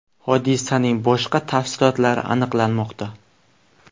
Hodisaning boshqa tafsilotlari aniqlanmoqda.